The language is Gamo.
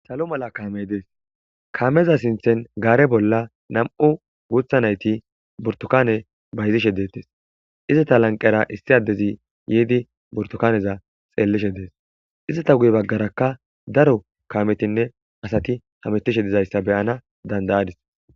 Salo mala kamey des kameza sinthen gare bolla nam'u gutha nayti burtukanne bayizishe detese izeta lanqera issi adezi yidi burtukanneza xelishe des izeta guye bagarakka daro kametinne asati hametishe de'izaysa beyana dana'adis